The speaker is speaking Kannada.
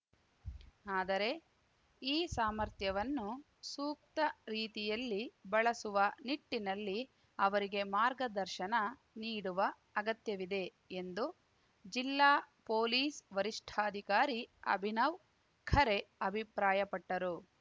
ಆದರೆ ಈ ಸಾಮರ್ಥ್ಯವನ್ನು ಸೂಕ್ತ ರೀತಿಯಲ್ಲಿ ಬಳಸುವ ನಿಟ್ಟಿನಲ್ಲಿ ಅವರಿಗೆ ಮಾರ್ಗದರ್ಶನ ನೀಡುವ ಅಗತ್ಯವಿದೆ ಎಂದು ಜಿಲ್ಲಾ ಪೊಲೀಸ್‌ ವರಿಷ್ಠಾಧಿಕಾರಿ ಅಭಿನವ್‌ ಖರೆ ಅಭಿಪ್ರಾಯಪಟ್ಟರು